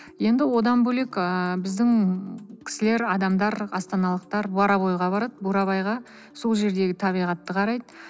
енді одан бөлек ыыы біздің кісілер адамдар астаналықтар боровоеға барады бурабайға сол жердегі табиғатты қарайды